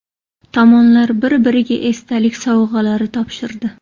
Tomonlar bir-biriga esdalik sovg‘alari topshirdi.